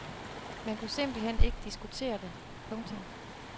Man kunne simpelt hen ikke diskutere det. punktum